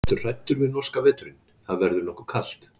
Ertu hræddur við norska veturinn, það verður nokkuð kalt?